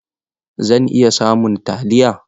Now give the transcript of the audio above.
Zan iya samun taliya?